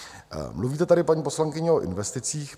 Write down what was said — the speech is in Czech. Mluvíte tady, paní poslankyně, o investicích.